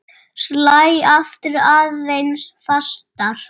Slæ aftur aðeins fastar.